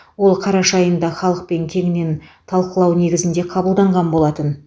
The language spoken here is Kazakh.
ол қараша айында халықпен кеңінен талқылау негізінде қабылданған болатын